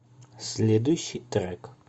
следующий трек